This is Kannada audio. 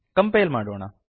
ಕಂಪೈಲ್ ಮಾಡೋಣ